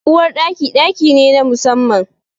Uwar Ɗaki, ɗaki ne na musamman.